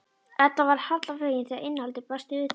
Edda varð harla fegin þegar innihaldið blasti við þeim.